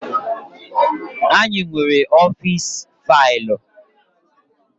Anyị nwere ọfịs faịlụ.